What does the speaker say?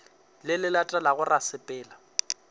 le le latelago ra sepela